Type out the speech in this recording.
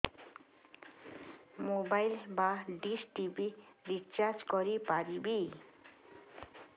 mobile ବା dish TV recharge କରି ପାରିବି